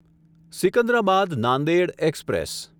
Secunderabad Nanded express